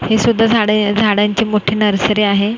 हे सुद्धा झाडे झाडांची मोठी नर्सरी आहे.